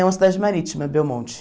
É uma cidade marítima, Belmonte.